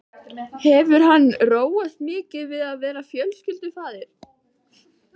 Hefur hann róast mikið við að verða fjölskyldufaðir?